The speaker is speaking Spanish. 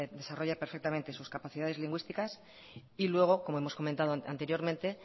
desarrollar perfectamente sus capacidades lingüísticas y luego como hemos comentado anteriormente